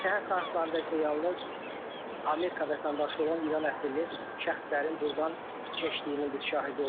Səhər saatlarında isə yalnız Amerika vətəndaşı olan İran əsilli şəxslərin burdan keçdiyinin biz şahidi olduq.